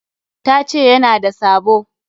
Ta ce ya na da sabo.